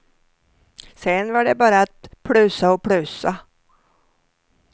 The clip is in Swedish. Sen var det bara att plussa och plussa.